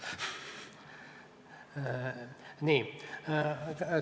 Nii.